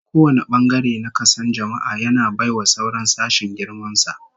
Kowane bangare na kason jama'a, yana bai wa sauran sashen girman sa